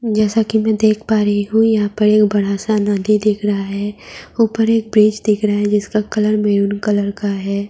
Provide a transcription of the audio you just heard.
जैसा कि मैं देख पा रही हूं यहाँ पर एक बड़ा सा नदी दिख रहा है। ऊपर एक ब्रिज दिख रहा है जिसका कलर मैंरून कलर का है।